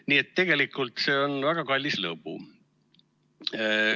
Nii et tegelikult see on väga kallis lõbu.